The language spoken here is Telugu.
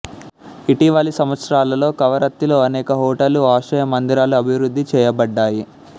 ఇటీవలి సంవత్సరాలలో కవరత్తిలో అనేక హోటళ్ళు ఆశ్రయ మందిరాలు అభివృద్ధి చేయబడ్డాయి